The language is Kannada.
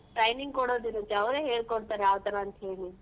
Training ಕೊಡೋದ್ ಇರತ್ತೆ ಅವ್ರೆ ಹೇಳ್ಕೊಡ್ತಾರೆ ಯಾವ್ತರ ಅಂತ್ ಹೇಳಿ.